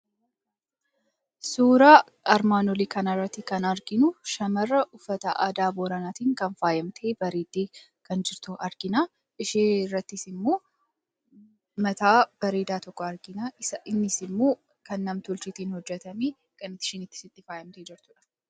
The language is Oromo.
Suuraa armaan olii kanarratti kan arginu shamara uffata aadaa Booranaatiin kan faayamtee, bareeddee kan jirtu argina. Ishee irrattis immoo mataa bareedaa tokko argina. Innis immoo kan nam-tolcheetiin hojjetamee, kan isheenis ittiin faayamtee jirtudha.